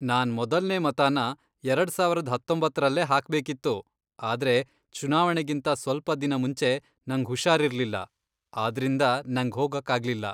ನಾನ್ ಮೊದಲ್ನೇ ಮತನ ಎರಡ್ ಸಾವರದ್ ಹತ್ತೊಂಬತ್ತರಲ್ಲೇ ಹಾಕ್ಬೇಕಿತ್ತು, ಆದ್ರೆ ಚುನಾವಣೆಗಿಂತ ಸ್ವಲ್ಪ ದಿನ ಮುಂಚೆ ನಂಗ್ ಹುಷಾರಿರ್ಲಿಲ್ಲ, ಆದ್ರಿಂದ ನಂಗ್ ಹೋಗಕ್ಕಾಗ್ಲಿಲ್ಲ.